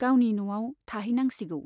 गावनि न'आव थाहैनांसिगौ।